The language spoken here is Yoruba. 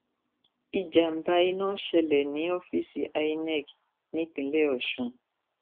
ìjàmbá iná ṣẹlẹ ní ọfíìsì inec nípínlẹ ọsùn